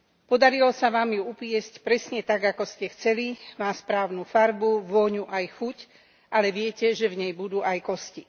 Podarilo sa vám ju upiecť presne tak, ako ste chceli, má správnu farbu, vôňu aj chuť, ale viete, že v nej budú aj kosti.